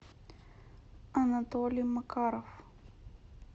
анатолий макаров